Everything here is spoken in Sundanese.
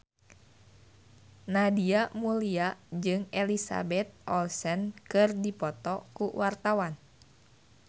Nadia Mulya jeung Elizabeth Olsen keur dipoto ku wartawan